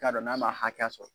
I k'a don n'a ma hakɛ sɔrɔ